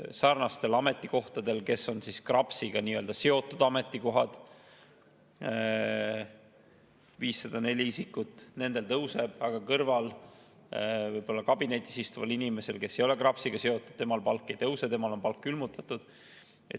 Sarnastel ametikohtadel, mis on KRAPS-iga nii-öelda seotud ametikohad, 504 isikut, palk tõuseks, aga võib-olla kõrvalkabinetis istuval inimesel, kes ei ole KRAPS-iga seotud, palk ei tõuseks, temal on palk külmutatud.